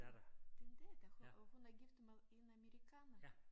Din din datter hun og hun er gift med en amerikaner